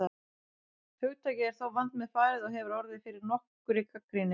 Hugtakið er þó vandmeðfarið og hefur orðið fyrir nokkurri gagnrýni.